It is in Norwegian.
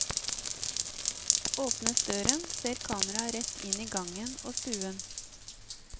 Åpnes døren, ser kameraet rett inn i gangen og stuen.